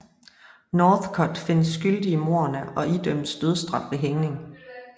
Northcott findes skyldig i mordene og idømmes dødsstraf ved hængning